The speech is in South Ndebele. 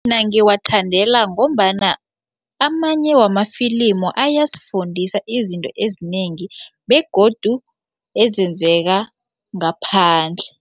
Mina ngiwathandela ngombana amanye wamafilimu ayasifundisa izinto ezinengi begodu ezenzeka ngaphandle.